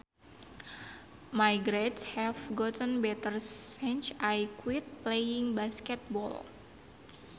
My grades have gotten better since I quit playing basketball